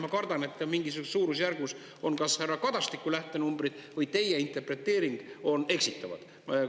Ma kardan, et mingisuguses suurusjärgus on kas härra Kadastiku lähtenumbrid või teie interpreteering eksitavad.